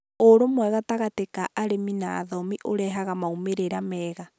Ũrũmwe gatagatĩ ka arĩmi na athomi ũrehaga moimĩrĩro meega